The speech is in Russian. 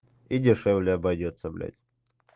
и дешевле обойдётся блять